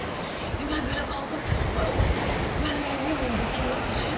Mən belə qaldım ki, ay Allah, mən neyləyim indi kimi seçeyim?